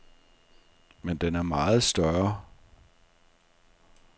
Men den er meget større.